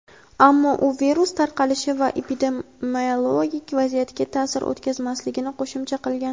Ammo u virus tarqalishi va epidemiologik vaziyatga ta’sir o‘tkazmasligini qo‘shimcha qilgan.